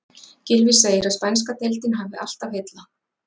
Gylfi segir að spænska deildin hafi alltaf heillað.